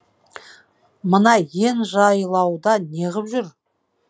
мына иен жайлауда неғып жүр